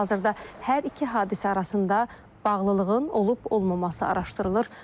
Hazırda hər iki hadisə arasında bağlılığın olub-olmaması araşdırılır.